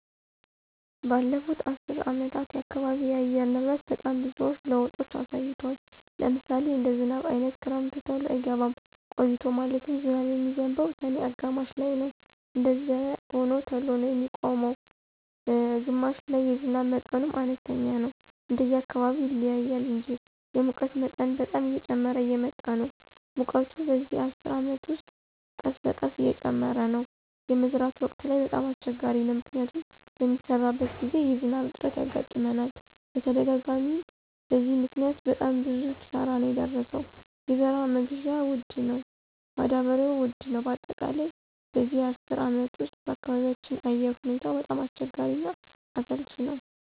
በለፉት አሰር አመታት የአካባቢ አየር ንብረት በጣም ብዙዎች ለውጦች አሳይቷል። ለምሳሌ እንደ ዝናብ አይነት ክረምቱ ተሎ አይገባም ቆይቶ ማለትም ዝናብ የሚዝንበው ሰኔ አጋማሽ ላይነው እንደዛዚያም ሆኖ ተሎ ነው የሚቆመው ነላይ ግማሽ ላይ የዝናብ መጠኑም አነስተኛ ነው እንደየ አካባቢው ይለያያል እንጂ። የሙቀት መጠን በጣም እየጨመረ እየመጣ ነው ሙቀቱ በዚህ አስር አመት ውስጥ ቀስበቀስ እየጨመረ ነው። የመዝራት ወቅት ላይ በጣም አሰቸጋሪ ነው። ምክንያቱም በሚሰራበት ግዜ የዝናብ እጥረት ያጋጥመናል በተደጋጋሚ አናም በዚህ ምክኒያት በጣም ብዙ ኪሳራ ነው የደረሰው የዘራ መግዢያ ወድ ነው ማዳበሪው ውድ ነው በአጠቃላይ በዚህ አስር አመት ውስጥ በአካባቢያቸው አየር ሁኔታው በጣም አስቸጋሪ እና አሰልች ነወ።